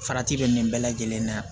Farati bɛ nin bɛɛ lajɛlen na